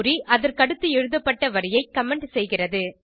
குறி அதற்கடுத்து எழுதப்பட்ட வரியை கமெண்ட் செய்கிறது